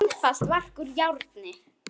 Mjög einfalt verk úr járni.